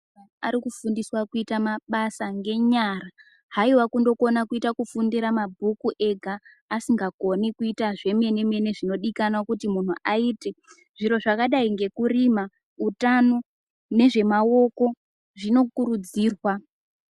Ari kufundiswa kuita mabasa ngenyara haiwa kundokona kuita kufundira mabhuku ega asingakoni kuita zvemene zvinodikanwa kuti muntu aite zviro zvakadai ngekurima, utano nezvemaoko zvinokurudzirwa